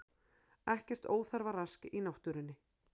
Ekkert óþarfa rask í náttúrunni